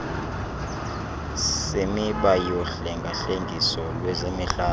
semiba yohlengahlengiso lwezemihlaba